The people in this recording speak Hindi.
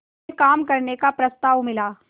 में काम करने का प्रस्ताव मिला